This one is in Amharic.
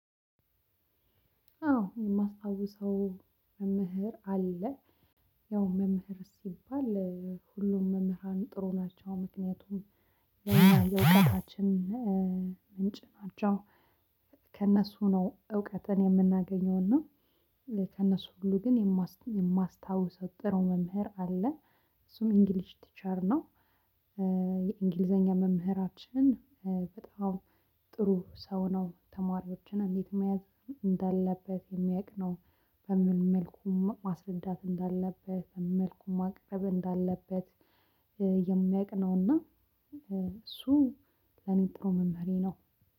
አዎ የማስታውሰው መምህር አለ ያው መምህር ሲባል ሁሉም መምህራን ጥሩ ናቸው ምክንያቱም ሌላ የዕዉቀታችን ምንጭ ናቸው። ከእነሱ ነው እውቀትን የምናገኘው እና። ከእነሱ ሁሉ ግን የማስታውሰው ጥሩ መምህር አለ። እሱም እንግሊዝ ቲቸር ነው። የእንግሊዘኛ መምህራችን በጣም ጥሩ ሰው ነው ተማሪዎችን እንዴት መያዝ እንዳለበት የሚያውቅ ነው። በምን መልኩ ማስረዳት እንዳለበት በምንመልኩ ማቅረብ እንዳለበት የሚያውቅ ነውና። እሱ ለኔ ጥሩ መምህሬ ነው።